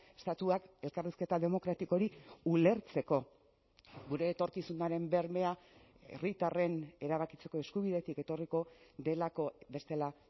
estatuak elkarrizketa demokratiko hori ulertzeko gure etorkizunaren bermea herritarren erabakitzeko eskubidetik etorriko delako bestela